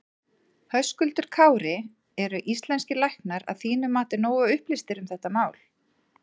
Höskuldur Kári: Eru íslenskir læknar að þínu mati nógu upplýstir um þetta mál?